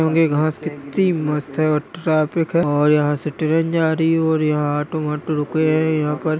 --होंगे घास कितनी मस्त है और ट्रैफिक है और यहाँ से ट्रेन जा रही है और यहाँ ऑटो - वाटो रुके है यहाँ पर--